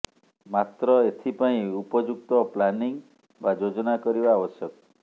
ମାତ୍ର ଏଥିପାଇଁ ଉପଯୁକ୍ତ ପ୍ଲାନିଂ ବା ଯୋଜନା କରିବା ଆବଶ୍ୟକ